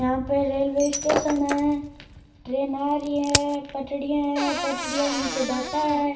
यहाँ पे railway station हैं ट्रैन आ रही है पटरियां है पटरियां के निचे भाटा है।